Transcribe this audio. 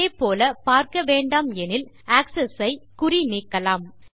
அதேபோல் பார்க்கவேண்டாம் எனில் ஆக்ஸஸ் ஐ குறி நீக்கலாம்